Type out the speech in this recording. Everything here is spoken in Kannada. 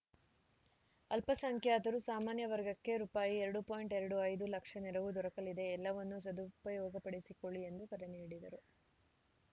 ಅಲ್ಪಸಂಖ್ಯಾತರು ಸಾಮಾನ್ಯ ವರ್ಗಕ್ಕೆ ರುಪಾಯಿ ಎರಡು ಎರಡು ಐದು ಲಕ್ಷ ನೆರವು ದೊರಕಲಿದೆ ಎಲ್ಲವನ್ನೂ ಸದುಪಯೋಗಪಡಿಸಿಕೊಳ್ಳಿ ಎಂದು ಕರೆ ನೀಡಿದರು